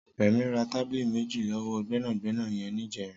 Remi rà tábìlí méji lọwọ gbẹnágbẹná yèn nijèrín